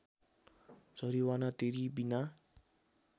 जरिवाना तिरी बिना